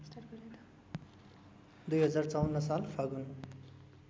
२०५४ साल फागुन